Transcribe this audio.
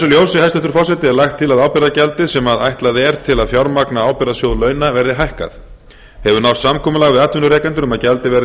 ljósi hæstvirtur forseti er lagt til að ábyrgðargjaldið sem ætlað er til að fjármagna ábyrgðarsjóð launa verði hækkað hefur náðst samkomulag við atvinnurekendur um að gjaldið verði